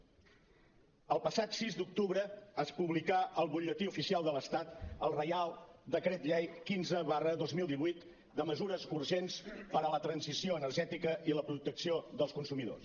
el passat sis d’octubre es publicà al butlletí oficial de l’estat el reial decret llei quinze dos mil divuit de mesures urgents per a la transició energètica i la protecció dels consumidors